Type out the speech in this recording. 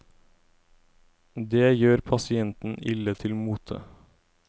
Det gjør pasienten ille til mote.